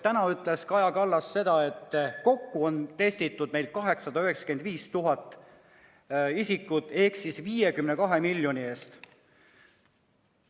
Täna ütles Kaja Kallas, et kokku on meil testitud 895 000 isikut ehk 52 miljoni euro eest.